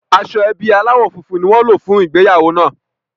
Aṣọ ẹbí aláwọ̀ funfun ni wọ́n lò fún ìgbéyàwó náà